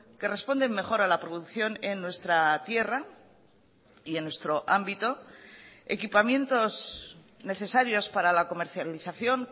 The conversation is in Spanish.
que responden mejor a la producción en nuestra tierra y en nuestro ámbito equipamientos necesarios para la comercialización